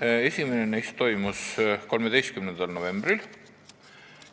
Esimene neist toimus 13. novembril